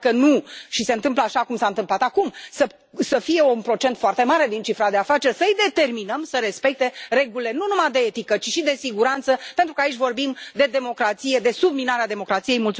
Iar dacă nu fac asta și se întâmplă așa cum s a întâmplat acum, să fie un procent foarte mare din cifra de afaceri, să îi determinăm să respecte regulile nu numai de etică, ci și de siguranță, pentru că aici vorbim de democrație, de subminarea democrației.